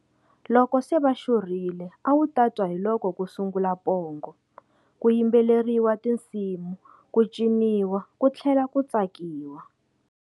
Loko se va xurhile a wu ta twa hi loko ku sungula pongo, ku yimbeleriwa tinsimu ku ciniwa ku tlhela ku tsakiwa.